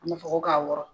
An b'a fɔ ko ka wɔrɔn